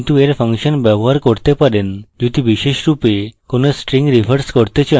কিন্তু এই ফাংশন ব্যবহার করতে পারেন যদি বিশেষরূপে কোন string reverse করতে চান